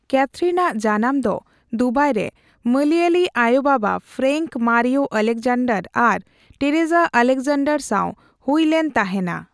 ᱠᱭᱟᱛᱷᱨᱤᱱᱟᱜ ᱡᱟᱱᱟᱢ ᱫᱚ ᱫᱩᱵᱟᱭ ᱨᱮ ᱢᱚᱞᱭᱟᱞᱤ ᱟᱭᱳ ᱵᱟᱵᱟ ᱯᱷᱨᱮᱱᱠ ᱢᱟᱨᱤᱭᱚ ᱚᱞᱮᱠᱡᱮᱱᱰᱚᱨ ᱟᱨ ᱴᱮᱨᱮᱥᱟ ᱮᱞᱮᱠᱡᱮᱱᱰᱚᱨ ᱥᱟᱣ ᱦᱩᱭ ᱞᱮᱱ ᱛᱟᱦᱮᱱᱟ᱾